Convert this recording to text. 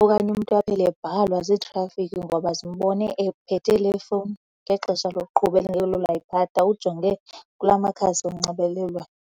Okanye umntu aphele ebhalwa ziitrafikhi ngoba zimbone ephethe le fowuni ngexesha lokuqhuba elingelo layiphatha, ujonge kula makhasi onxibelelwano.